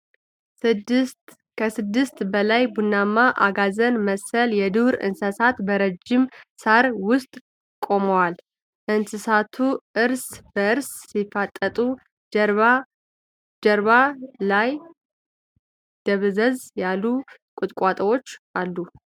ከስድስት በላይ ቡናማ አጋዘን መሰል የዱር እንስሳት በረጃጅም ሳር ውስጥ ቆመዋል። እንስሳቱ እርስ በርስ ሲፋጠጡ። ጀርባ ላይ ደብዘዝ ያሉ ቁጥቋጦዎች አሉ።